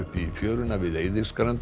í fjöruna við